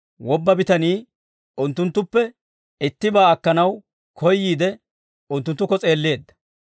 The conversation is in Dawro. Wobba bitanii unttunttuppe ittibaa akkanaw koyyiide, unttunttukko s'eelleedda.